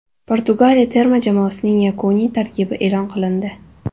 Portugaliya terma jamoasining yakuniy tarkibi e’lon qilindi.